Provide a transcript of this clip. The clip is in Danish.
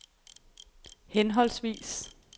henholdsvis